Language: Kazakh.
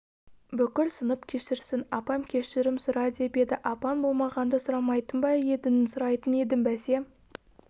бүкіл сынып кешірсін апам кешірім сұра деп еді апаң болмағанда сұрамайтын ба едің сұрайтын едім бәсе